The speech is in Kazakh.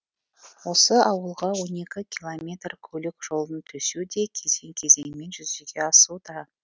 осы ауылға он екі километр көлік жолын төсеу де кезең кезеңімен жүзеге асуда